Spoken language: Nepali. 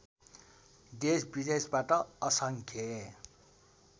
देशविदेशबाट असङ्ख्य